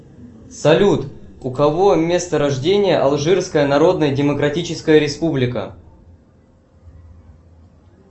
салют у кого место рождения алжирская народная демократическая республика